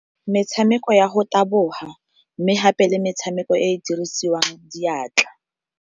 Metshameko ya go taboga, mme gape le metshameko e e dirisiwang diatla.